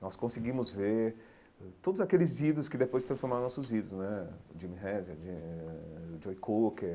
Nós conseguimos ver ãh todos aqueles ídolos que depois se transformaram em nossos ídolos né, o Jimmy Hazard, Jimmy eh o Joe Cocker,